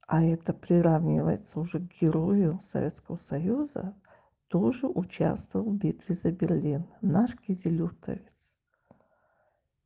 а это приравнивается уже к герою советского союза тоже участвовал в битве за берлин наш кизилюртовец